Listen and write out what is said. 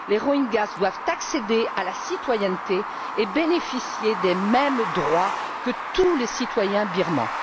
Les Rohingyas doivent accéder à la citoyenneté et bénéficier des mêmes droits que tous les citoyens birmans.